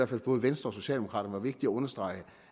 for både venstre og socialdemokraterne var vigtigt at understrege